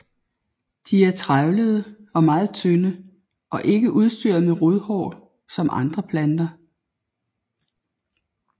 De er trævlede og meget tynde og ikke udstyret med rodhår som andre planter